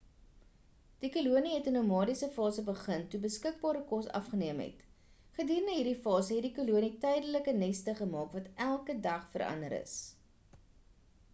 die kolonie het 'n nomadiese fase begin toe beskikbare kos afgeneem het gedurende hierdie fase het die kolonie tydelike neste gemaak wat elke dag verander is